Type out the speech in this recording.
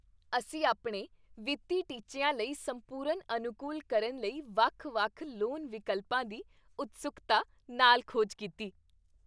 ਅਸੀਂ ਆਪਣੇ ਵਿੱਤੀ ਟੀਚਿਆਂ ਲਈ ਸੰਪੂਰਨ ਅਨੁਕੂਲ ਕਰਨ ਲਈ ਵੱਖ ਵੱਖ ਲੋਨ ਵਿਕਲਪਾਂ ਦੀ ਉਤਸੁਕਤਾ ਨਾਲ ਖੋਜ ਕੀਤੀ